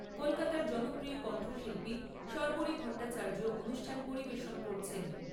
কলকাতার জনপ্রিয় কণ্ঠশিল্পী শর্বরী ভট্টাচার্য অনুষ্ঠান পরিবেশন করছেন।